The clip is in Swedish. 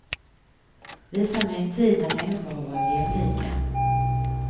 Visa mig en tid när människor har varit jämlika.